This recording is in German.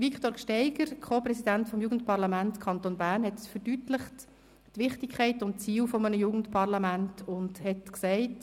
Viktor Gsteiger vom Jugendparlament Kanton Bern hat Wichtigkeit und Ziel eines Jugendparlaments verdeutlicht und gesagt: